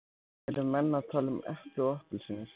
Eru menn að tala um epli og appelsínur?